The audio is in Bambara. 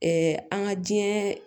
an ka diɲɛɛ